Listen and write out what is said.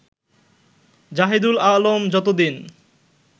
জাহেদুল আলম যতদিন